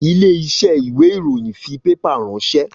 Ilé iṣẹ́ ìwé ìròyìn fi pépà ránsẹ́